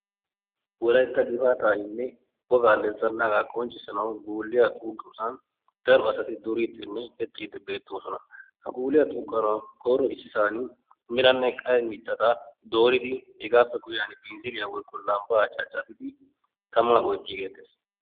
wolaytta naa"u yelaga naati issisan eqqidaageeti beettoosona. ha naatikka maayido maayuwa meray zo"onne karettanne adil"e mera. ha maayoykka eti wolaytta gidiyoogaa wolayttatettaa qonccissiyagan tamaa oytiigeettees.